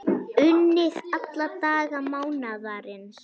Unnið alla daga mánaðarins